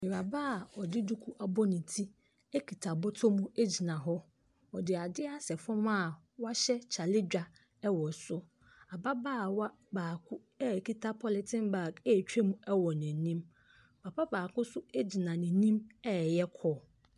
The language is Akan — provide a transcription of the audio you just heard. Awuraba a ɔde duku abɔ ne ti kuta bɔtɔ mu gyina hɔ. Ɔde adeɛ asɛ fam a wahyɛ kyake dwa wɔ so. Ababaawa baa a ɔkuta polythene bag retwam wɔ n'anim. Papa baako nso gyina n'ani reyɛ call.